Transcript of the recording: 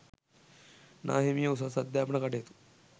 නාහිමියෝ උසස් අධ්‍යාපන කටයුතු